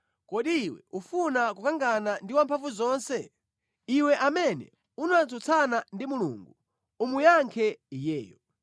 “Kodi iwe ufuna kukangana ndi Wamphamvuzonse? Iwe amene unatsutsana ndi Mulungu umuyankhe Iyeyo!”